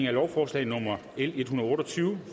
at lovforslaget